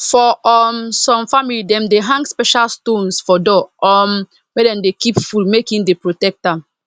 for um some family dem dey hang special stones for door um where dem dey keep food make e dey protect am